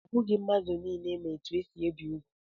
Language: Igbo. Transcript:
Ọ bụghị mmadụ niile ma etu esi ebi úgwù.